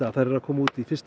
þær eru að koma í fyrsta